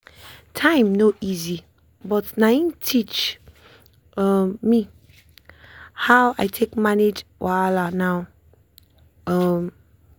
time no easy but na him teach um me how i dey take manage wahala now. um